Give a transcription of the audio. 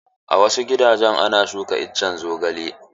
A wasu gidajen ana shuka iccen zogale.